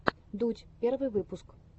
дудь первый выпуск